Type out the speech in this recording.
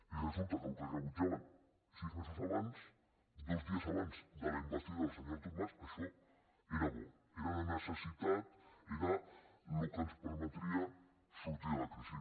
i resulta que el que rebutjaven sis mesos abans dos dies abans de la investidura del senyor artur mas això era bo era de necessitat era el que ens permetria sortir de la crisi